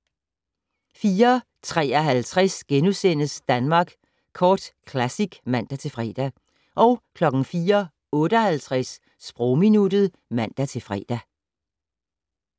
04:53: Danmark Kort Classic *(man-fre) 04:58: Sprogminuttet (man-fre)